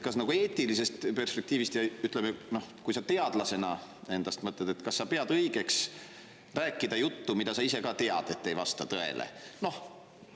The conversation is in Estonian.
Kas eetilisest perspektiivist ja ütleme, noh, kui sa endast teadlasena mõtled, pead sa õigeks rääkida juttu, mille kohta sa ise ka tead, et see ei vasta tõele?